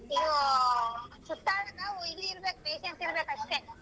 ಇದು ಸುತ್ತಾಡದ ಇರ್ಬೇಕ್ patience ಇರ್ಬೇಕ್ ಅಷ್ಟೇ.